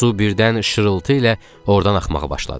Su birdən şırıltı ilə ordan axmağa başladı.